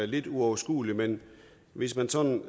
lidt uoverskueligt men hvis man sådan